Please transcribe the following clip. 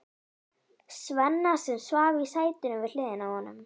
Svenna, sem svaf í sætinu við hliðina á honum.